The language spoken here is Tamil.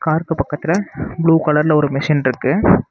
காருக்கு பக்கத்துல ப்ளூ கலர்ல ஒரு மிஷின் இருக்கு.